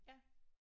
Ja